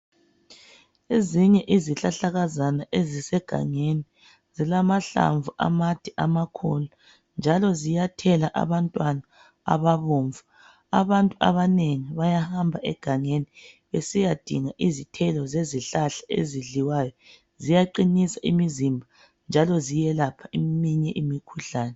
ezinye izihlahlakazana ezisegangeni zilamahlamvu amade amakhulu njalo ziyathela abantwana ababomvu abantu abanengi bayamba egangeni besiyadinga izithelo zezihlahla ezidliwayo ziyaqinisa imizimba njalo ziyelapha eminye imikhuhlane